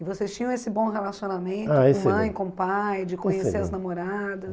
E vocês tinham esse bom relacionamento, ah excelente, com mãe, com pai, excelente, de conhecer as namoradas?